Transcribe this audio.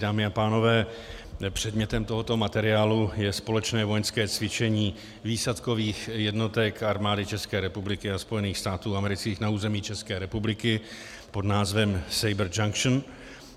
Dámy a pánové, předmětem tohoto materiálu je společné vojenské cvičení výsadkových jednotek Armády České republiky a Spojených států amerických na území České republiky pod názvem Saber Junction.